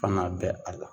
Kan'a bɛn a la